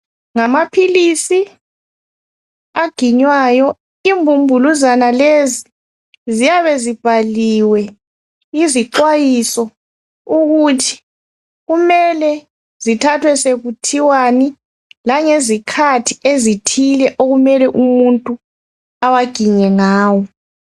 Ngamaphilisi aginywayo imbumbuluzwana lezi ziyabe zibhaliwe izixwayiso ukuthi kumele zithathwe sekuthiwani langezikhathi ezithile umuntu okumele ewaginye ngawo